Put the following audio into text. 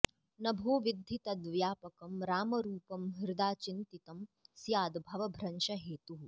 नभोवद्धि तद् व्यापकं रामरूपं हृदा चिन्तितं स्याद् भवभ्रंशहेतुः